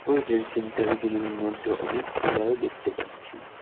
ওই health centre গুলির মধ্যে অনেক পিলার ও দেখতে পাচ্ছি।